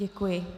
Děkuji.